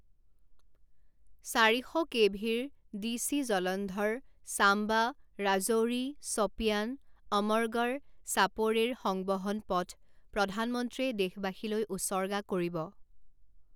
চাৰি শ কেভিৰ ডি চি জলন্ধৰ ছাম্বা ৰাজৌৰি ছপিয়ান অমৰগড় সাপোড়ে ৰ সংবহন পথ প্ৰধানমন্ত্ৰীয়ে দেশবাসীলৈ উচৰ্গা কৰিব।